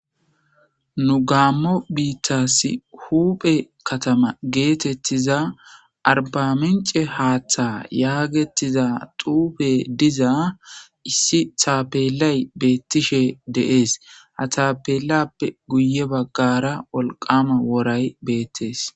Nu gaammo biittassi huphe katama geetettiza arbamince haaththa yaagettiza xuupe diza issi thaapelay beettishe deees hatapelappe guye baggara wolqama woray beettees.